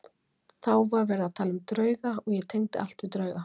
Þá var verið að tala um drauga og ég tengdi allt við drauga.